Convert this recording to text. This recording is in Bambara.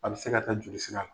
A bɛ se ka taa joli sira la.